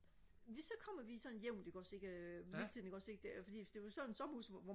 vi så kommer vi sådan jævnt ikke også ikke hele tiden ikke også ikke det altså fordi hvis det var sådan et sommerhus hvor